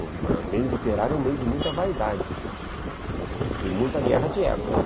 O meio literário é um meio de muita vaidade e muita guerra de egos.